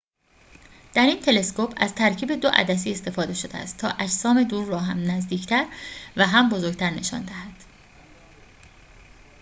در این تلسکوپ از ترکیب دو عدسی استفده شده است تا اجسام دور را هم نزدیکتر و هم بزرگتر نشان دهد